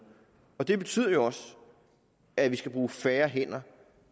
det betyder jo også at vi skal bruge færre hænder